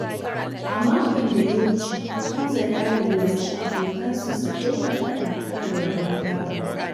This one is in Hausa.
A makon da ya wuce, Hamza ya lallashi abokansa su daina faɗa kan rabon gado.